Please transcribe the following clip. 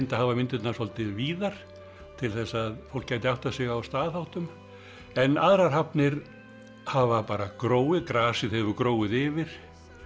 að hafa myndirnar svolítið víðar til þess að fólk gæti áttað sig á staðháttum en aðrar hafnir hafa bara gróið grasið hefur gróið yfir